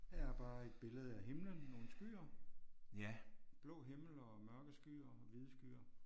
Her er bare et billede af himlen nogle skyer. Blå himmel og mørke skyer og hvide skyer